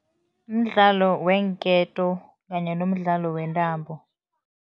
Mdlalo weenketo kanye nomdlalo wentambo.